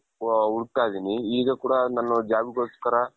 ಹುಡುಕ್ತಾ ಇದ್ದೀನಿ ಈಗ ಕೂಡ ನಾನು job ಗೋಸ್ಕರ